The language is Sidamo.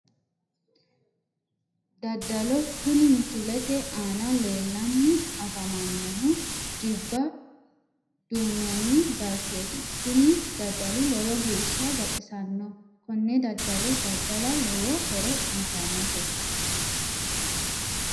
Daddalo kuni misilete aana leellanni afamannohu jibba duunnoonni baychooti kuni daddali lowo geeshsha baxisanno konne daddalo daddala lowo horo uyitannote